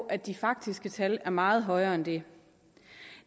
at de faktiske tal er meget højere end det